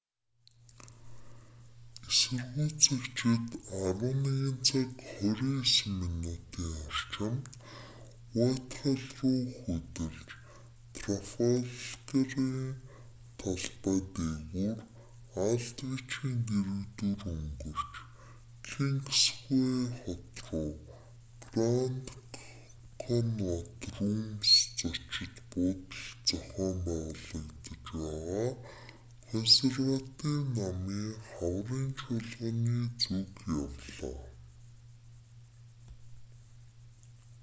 эсэргүүцэгчид 11:29 цагийн орчимд уитхалл руу хөдөлж трафалгарын талбай дээгүүр алдвичийн дэргэдүүр өнгөрч кингсвэй хот руу гранд коннаут рүүмс зочид буудалд зохион байгуулагдаж байгаа консерватив намын хаврын чуулганы зүг явлаа